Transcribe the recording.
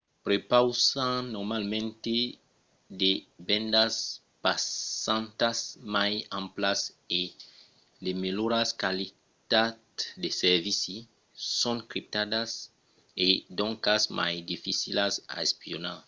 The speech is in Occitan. prepausan normalament de bendas passantas mai amplas e de melhoras qualitats de servici. son criptadas e doncas mai dificilas a espionar